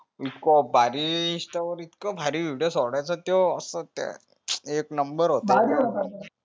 इतक भारी insta वर इतक भारी video सोडायचा त्यो एक number होता तो